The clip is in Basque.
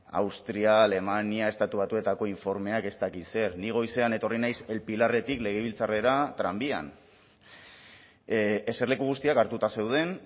austria alemania estatu batuetako informeak ez dakit zer ni goizean etorri naiz el pilarretik legebiltzarrera tranbian eserleku guztiak hartuta zeuden